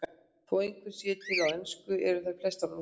Þó einhverjar séu til á ensku eru þær flestar á rússnesku.